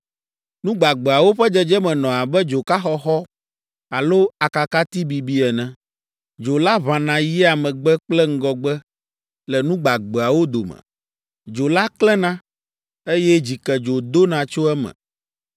Nu gbagbeawo ƒe dzedzeme nɔ abe dzoka xɔxɔ alo akakati bibi ene. Dzo la ʋãna yia megbe kple ŋgɔgbe le nu gbagbeawo dome. Dzo la klẽna, eye dzikedzo dona tso eme.